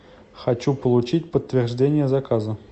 хочу получить подтверждение заказа